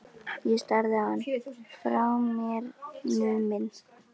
Ég starði á hann, frá mér numin.